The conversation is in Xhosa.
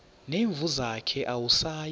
nezimvu zakhe awusayi